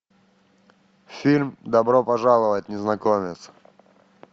фильм добро пожаловать незнакомец